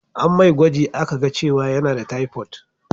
An mai gwaji a ka ga cewa yana da taifot